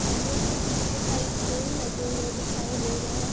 मंदिर के पीछे साइड पेड़ लगे हुए दिखाई दे रहे हैं।